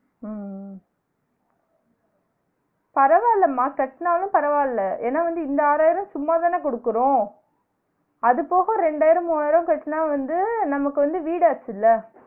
ஆஹ் பரவாயில்லமா கட்டுநாலூ பரவாயில்ல ஏன்னா இந்த ஆறாயிரோ சும்மாதான குடுக்குறோம் அது போக ரெண்டாயிரம் மூவாயிரம் கட்டுனா வந்து நமக்கு வந்து வீடு ஆச்சுல